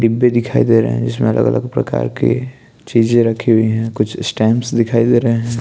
डिब्बे दिखाई दे रहे है जिसमें अलग अलग प्रकार के चीजे रखी हुई है कुछ स्टैम्प्स दिखाई दे रहे है।